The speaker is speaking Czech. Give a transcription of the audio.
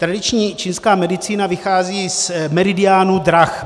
Tradiční čínská medicína vychází z meridiánů drah.